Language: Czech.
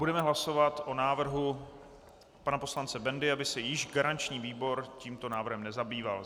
Budeme hlasovat o návrhu pana poslance Bendy, aby se již garanční výbor tímto návrhem nezabýval.